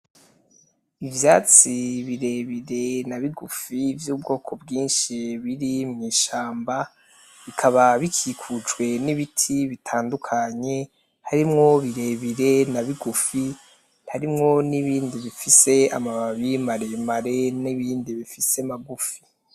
Ivyatsi birebire nabigufi vy' ubwoko bwinshi biri mwishamba bikaba bikikujwe n' ibiti bitandukanye harimwo birebire na bigufi harimwo n'ibindi bifise amababi maremare n' ibindi bifise magufi.